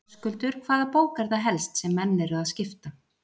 Höskuldur: Hvaða bók er það helst sem menn eru að skipta?